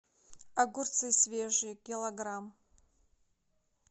огурцы свежие килограмм